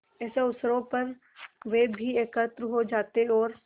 ऐसे अवसरों पर वे भी एकत्र हो जाते और